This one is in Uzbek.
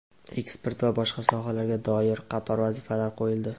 eksport va boshqa sohalarga doir qator vazifalar qoʼyildi.